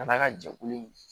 A n'a ka jɛkulu in